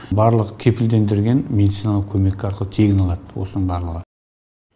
барлығы кепілдендірілген медициналық көмек арқылы тегін алады осының барлығы